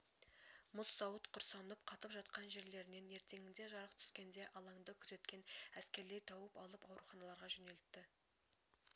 мұз сауыт құрсанып қатып жатқан жерлерінен ертеңінде жарық түскенде алаңды күзеткен әскерлер тауып алып ауруханаларға жөнелтті